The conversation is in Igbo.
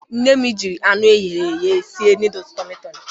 Nne m jiri anụ e ghere eghe sie nọọdụsụ tọmị tọmị.